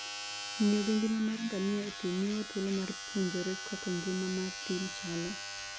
Ng'iyo gi ngima mar ngamia e thim miyowa thuolo mar puonjore kaka ngima mar thim chalo.